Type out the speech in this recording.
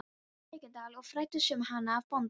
Haukadal og fræddist um hana af bónda.